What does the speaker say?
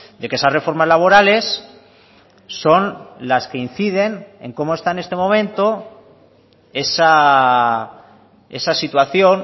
de que esas reformas laborales son las que inciden en cómo está en este momento esa situación